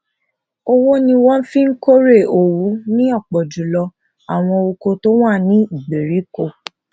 ọwó ni wón fi kórè òwú ní òpò jù lọ àwọn oko tó wà ní ìgbèríko